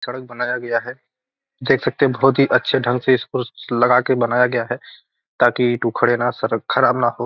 सड़क बनाया गया है देख सकते है बहुत ही अच्छे ढंग से इसको लगा के बनाया गया है ताकि उखड़े न सड़क ख़राब न हो।